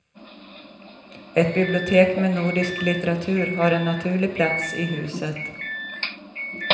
Ett bibliotek med nordisk litteratur har en naturlig plats i huset.